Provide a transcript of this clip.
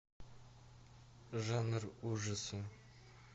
жанр ужасы